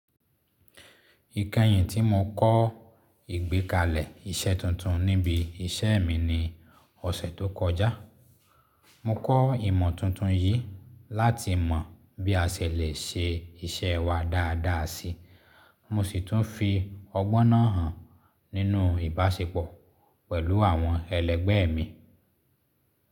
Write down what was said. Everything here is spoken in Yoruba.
Ìkẹyìn tí mo kọ́ ìgbékalẹ̀ iṣẹ́ tuntun níbi iṣẹ́ mi ní ọ̀sẹ̀ tó kọjá, mo kọ́ ìmọ̀ tuntun yìí láti mọ bí a ṣẹ̀ lè ṣe iṣẹ́ wa dáadáa si. Mosì tún fi ọgbọ́n náà hàn nínú ìbáṣepọ̀ pẹ̀lú àwọn ẹlẹ́gbẹ́ mi.